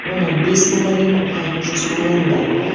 оны бес мыңға дейін ұлғайту жоспарлануда